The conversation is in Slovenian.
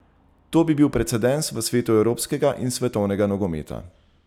To bi bil precedens v svetu evropskega in svetovnega nogometa.